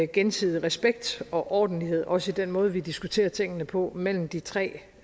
gensidig respekt og ordentlighed også i den måde vi diskuterer tingene på mellem de tre